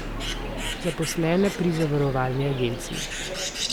Zaposlena pri zavarovalni agenciji.